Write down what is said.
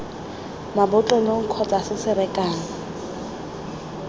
mabotlolong kgotsa se se rekang